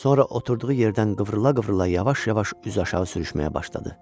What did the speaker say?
Sonra oturduğu yerdən qıvrıla-qıvrıla yavaş-yavaş üzüaşağı sürüşməyə başladı.